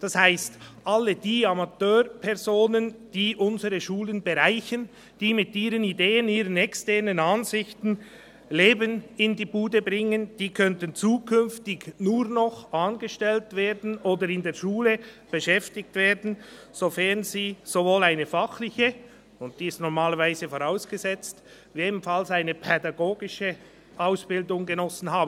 Das heisst, all die Amateurpersonen, die unsere Schulen bereichern, die mit ihren Ideen, mit ihren externen Ansichten Leben in die Bude bringen, könnten zukünftig nur noch angestellt oder in der Schule beschäftigt werden, sofern sie sowohl eine fachliche – die ist normalerweise vorausgesetzt – wie auch eine pädagogische Ausbildung genossen haben.